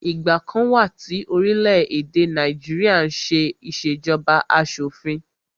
Ìgbà kan wà tí orílẹ̀-èdè Nàìjíríà n ṣé ìṣèjọba asọ̀fin